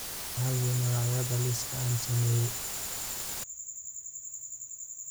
Maxay yihiin magacyada liiska aan sameeyay?